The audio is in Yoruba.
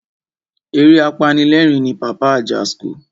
Eré apanilerin ni Pàpá Ajasco.